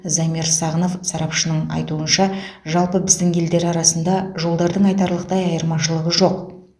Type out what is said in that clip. замир сағынов сарапшының айтуынша жалпы біздің елдер арасында жолдардың айтарлықтай айырмашылығы жоқ